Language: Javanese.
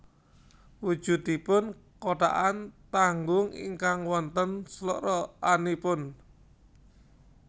Wujudipun kothakan tanggung ingkang wonten sloroganipun